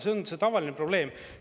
See on tavaline probleem.